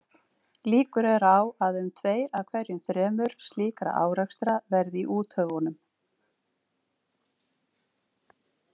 Líkur eru á að um tveir af hverju þremur slíkra árekstra verði í úthöfunum.